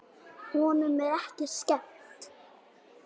Honum er ekki skemmt.